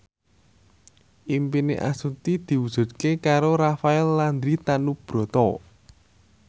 impine Astuti diwujudke karo Rafael Landry Tanubrata